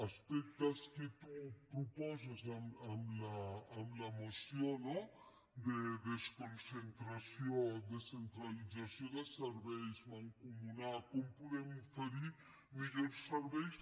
aspectes que tu proposes en la moció no de desconcentració descentralització de serveis mancomunar com podem oferir millors serveis